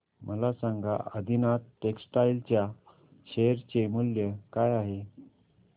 मला सांगा आदिनाथ टेक्स्टटाइल च्या शेअर चे मूल्य काय आहे